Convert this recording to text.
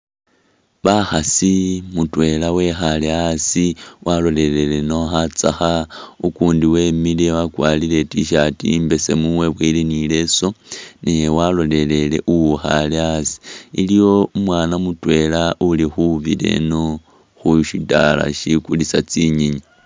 Bakhasi mutwela wekhale asi walolelele ino khatsekha ukundi wemile wakwarire i’tshirt imbesemu webowile ni leso naye walelele uwukhale asi , iliwo umwana mutwela uli khubira ino khushidala shi kulisa tsinyenyi .